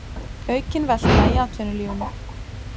Aukin velta í atvinnulífinu